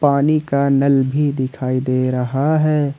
पानी का नल भी दिखाई दे रहा है।